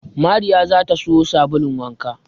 Mariya za ta siyo sabulun wanka